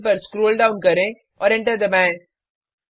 println पर scroll down करें और एंटर दबाएँ